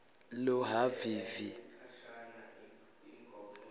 lohhavivi